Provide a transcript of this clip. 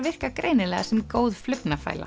virka greinilega sem góð